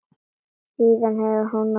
Síðan heldur hún af stað.